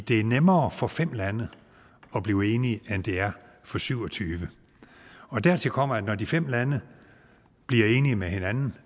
er nemmere for fem lande at blive enige end det er for syvogtyvende dertil kommer at når de fem lande bliver enige med hinanden